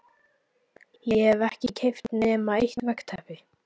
Ég hef ekki keypt nema eitt veggteppi